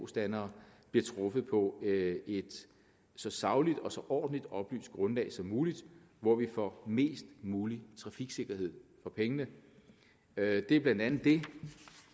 standere bliver truffet på et så sagligt og ordentligt oplyst et grundlag som muligt hvor vi får mest mulig trafiksikkerhed for pengene det er blandt andet det